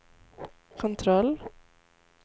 kontroll